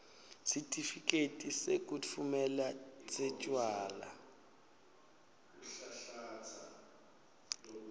sitifiketi sekutfumela setjwala